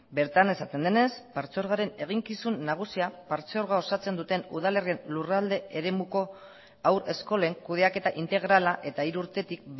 bertan esaten denez partzuergoaren eginkizun nagusia partzuergoa osatzen duten udalerrien lurralde eremuko haurreskolen kudeaketa integrala eta hiru urtetik